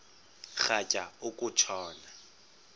rhatya uku tshona